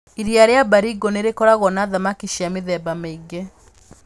Iria rĩa Baringo nĩ rĩkoragwo na thamaki cia mĩthemba mĩingĩ.